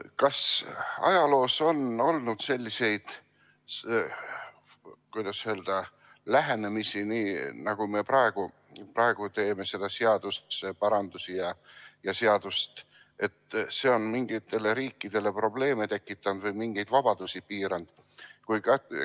Kas ajaloost on teada selliseid, kuidas öelda, lähenemisi, nagu me praegu seda seaduseparandust ja seadust teeme, et see on mingitele riikidele probleeme tekitanud või mingeid vabadusi piiranud?